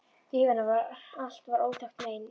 Líf hennar allt var óþekkt mein.